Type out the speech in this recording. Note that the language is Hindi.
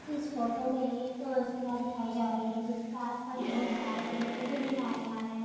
इस फोटो में एक किला दिखाई जा रही है जिसके आस पास बहुत सारे पेड़ पौधे दिखाए जा रहे हैं।